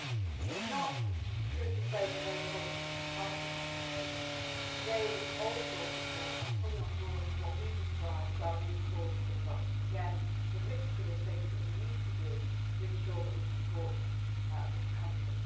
It is not true to say that their approach is confined to counterterrorism they also support and are fully on board with what we describe as our root causes' approach, again the mixture of things which we need to do to ensure that we support this country.